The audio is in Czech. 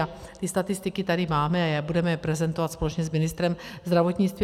A ty statistiky tady máme a budeme je prezentovat společně s ministrem zdravotnictví.